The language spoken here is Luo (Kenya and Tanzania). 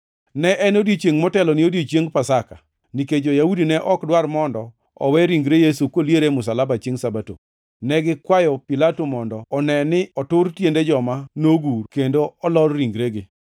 Ne en odiechiengʼ motelo ne odiechieng Pasaka. Nikech jo-Yahudi ne ok dwar mondo owe ringre Yesu koliero e msalaba chiengʼ Sabato, ne gikwayo Pilato mondo one ni otur tiende joma nogur, kendo olor ringregi.